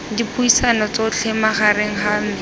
dipuisano tsotlhe magareng ga me